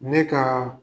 Ne ka